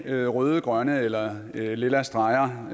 er det røde grønne eller lilla streger